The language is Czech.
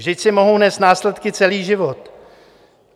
Vždyť si mohou nést následky celý život.